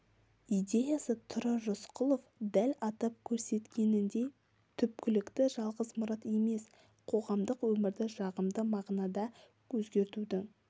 идеясы тұрар рысқұлов дәл атап көрсеткеніндей түпкілікті жалғыз мұрат емес қоғамдық өмірді жағымды мағынада өзгертудің